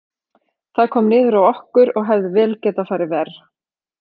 Það kom niður á okkur, og hefði vel getað farið verr.